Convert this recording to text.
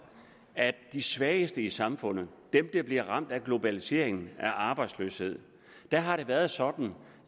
de svageste i samfundet dem der bliver ramt af globalisering og arbejdsløshed har det været sådan